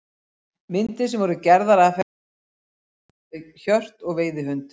Myndir sem voru gerðar af henni sýna hana oft með hjört og veiðihund.